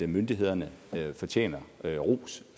myndighederne fortjener ros